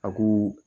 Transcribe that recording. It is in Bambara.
A ko